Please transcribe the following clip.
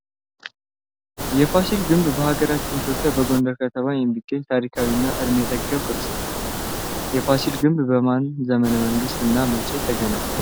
የፋሲል ግንብ በሀገራችን ኢትዮጵያ በጎንደር ከተማ የሚገኝ ታሪካዊ እና እድሜ ጠገብ ቅርስ ነው። የፋሲል ግንብ በማን ዘመነ መንግስት እና መቼ ተገነባ ?